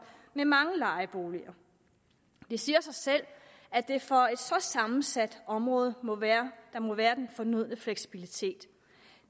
med mange lejeboliger det siger sig selv at der for et så sammensat område må være må være den fornødne fleksibilitet